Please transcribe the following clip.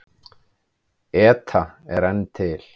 ETA er enn til.